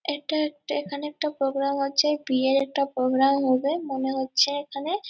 এটা একটা এখানে একটা প্রোগ্রাম হচ্ছে বিয়ের একটা প্রোগ্রাম হবে মনে হচ্ছে এখানে--